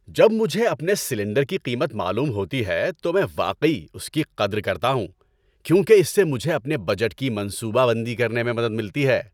جب مجھے اپنے سلنڈر کی قیمت معلوم ہوتی ہے تو میں واقعی اس کی قدر کرتا ہوں کیونکہ اس سے مجھے اپنے بجٹ کی منصوبہ بندی کرنے میں مدد ملتی ہے۔